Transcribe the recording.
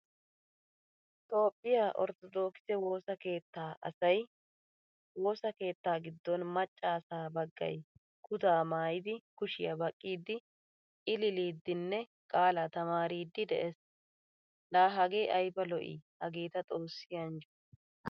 Toophphiyaa ortodokise woosaa keettaa asay woosaa keetta giddon macca asaa baggaay kutta maayidi kushiyaa baqqidi illilidinne qaala tamaaridi de'ees. La hagee ayba lo'i Hagetta xoossi anjjo.